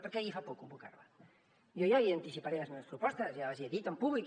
per què li fa por convocar la jo ja li anticiparé les meves propostes ja les he dit en públic